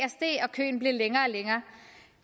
køen blev længere og længere